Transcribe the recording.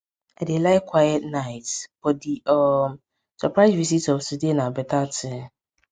i dey like quiet nights but di um surprise visit of today na beta thing